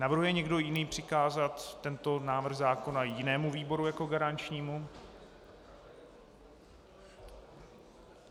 Navrhuje někdo jiný přikázat tento návrh zákona jinému výboru jako garančnímu?